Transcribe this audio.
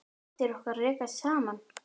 Raddir okkar rekast saman.